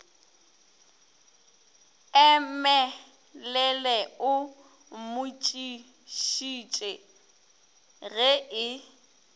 emelele o mmotšišitše ge e